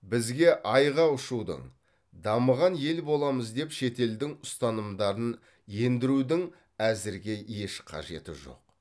бізге айға ұшудың дамыған ел боламыз деп шетелдің ұстанымдарын ендірудің әзірге еш қажеті жоқ